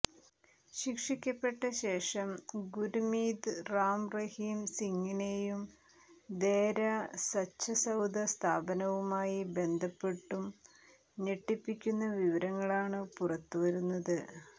ശിക്ഷിക്കപ്പെട്ട ശേഷം ഗുര്മീത് റാം റഹീം സിങിനെയും ദേര സച്ച സൌദ സ്ഥാപനവുമായി ബന്ധപ്പെട്ടും ഞെട്ടിപ്പിക്കുന്ന വിവരങ്ങളാണ് പുറത്ത് വരുന്നത്